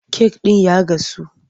Kek ɗin ya gasu,